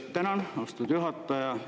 Tänan, austatud juhataja!